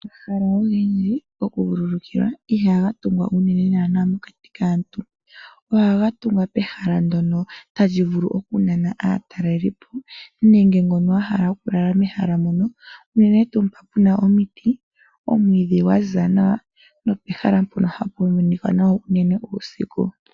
Omahala ogendji goku vululukilwa ihaga tungwa unene mokati kaantu. Ohaga tungwa pehala ndyono tali vulu oku nana aatalelipo . Nenge kehe ngo ahala oku lala mehala moka. Unene tuu mpo puna omiti, omwiidhi gwa ziza nawa. Nope hala mpono hapu monika nawa unene tuu uusiku.